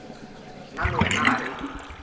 nna le wena ga re